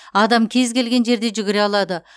адам кез келген жерде жүгіре алады